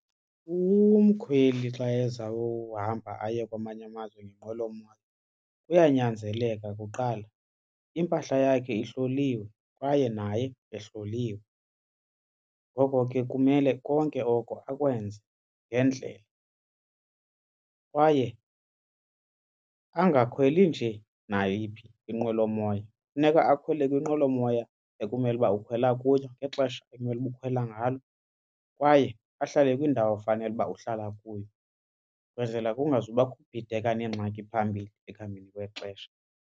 Umkhweli xa ezawuhamba aye kwamanye amazwe ngenqwelomoya kuyanyanzeleka kuqala impahla yakhe ihloliwe kwaye naye ehloliwe. Ngoko ke kumele konke oko awenze ngendlela kwaye angakhweli nje nayiphi inqwelomoya. Funeka akhwele kwinqwelomoya ekumele uba ukhwela kuyo ngexesha ekumele uba ukhwela ngalo kwaye ahlale kwindawo efanele uba uhlala kuyo, kwenzela kungazubakho kubhideka neengxaki phambili ekuhambeni kwexesha.